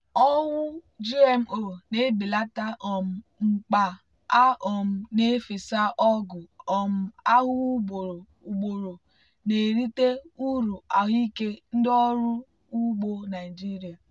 owu gmo na-ebelata um mkpa a um na-efesa ọgwụ um ahụhụ ugboro ugboro na-erite uru ahụike ndị ọrụ ugbo naịjirịa.